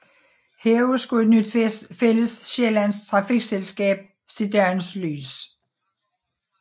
Heraf skulle et nyt fællessjællands trafikselskab se dagens lys